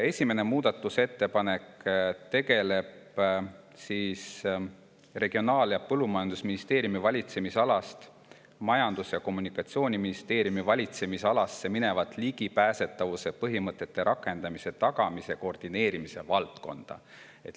Esimene muudatusettepanek tegeleb Regionaal- ja Põllumajandusministeeriumi valitsemisalast Majandus- ja Kommunikatsiooniministeeriumi valitsemisalasse mineva ligipääsetavuse põhimõtete rakendamise tagamise koordineerimise valdkonnaga.